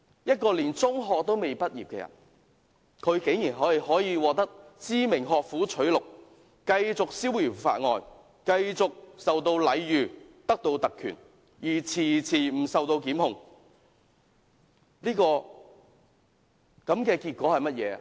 一個連中學也未畢業的人，竟然可以獲得知名學府取錄，繼續逍遙法外，繼續受到禮遇，有特權而遲遲不受檢控。